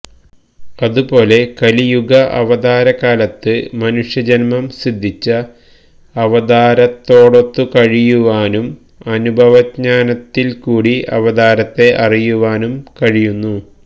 അതുപോലെ കലിയുഗവതാരകാലത്ത് മനുഷ്യജന്മം സിദ്ധിച്ച അവതാരത്തോടൊത്തു കഴിയുവാനും അനുഭവജ്ഞാനത്തില്കൂടി അവതാരത്തെ അറിയുവാനും കഴിയുന്നു